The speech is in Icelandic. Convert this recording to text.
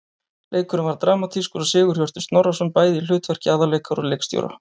Leikurinn var dramatískur og Sigurhjörtur Snorrason bæði í hlutverki aðalleikara og leikstjóra.